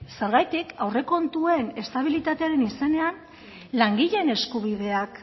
zergatik aurrekontuen estabilitatearen izenean langileen eskubideak